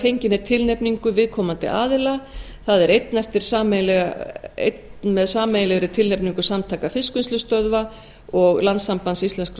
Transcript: fenginni tilnefningu viðkomandi aðila það er einn með sameiginlegri tilnefningu samtaka fiskvinnslustöðva og landssambands íslenskra